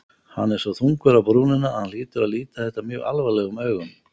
Hann er svo þungur á brúnina að hann hlýtur að líta þetta mjög alvarlegum augum.